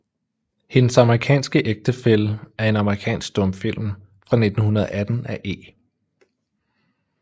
Hendes amerikanske Ægtefælle er en amerikansk stumfilm fra 1918 af E